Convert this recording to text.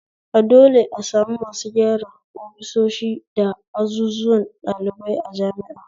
A dole a sami masu gyara ofisoshi da azuzuwan ɗalibai a jami'a